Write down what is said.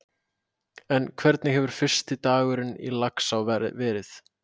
En hvernig hefur fyrsti dagurinn í Laxá verið?